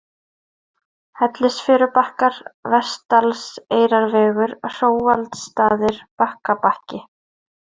Hellisfjörubakkar, Vestdalseyrarvegur, Hróaldsstaðir, Bakkabakki